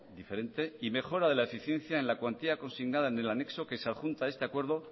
diferente y mejora de la eficiencia en la cuantía consignada en el anexo que se adjunta a este acuerdo